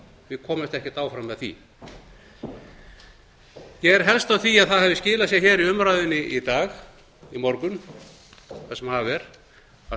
við komumst ekkert áfram með því ég er helst á því að það hafi skilað sér í umræðunni í morgun það sem af er að